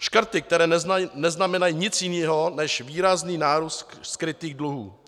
Škrty, které neznamenají nic jiného než výrazný nárůst skrytých dluhů.